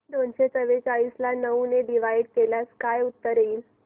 दोनशे चौवेचाळीस ला नऊ ने डिवाईड केल्यास काय उत्तर येईल